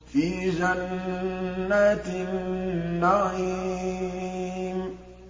فِي جَنَّاتِ النَّعِيمِ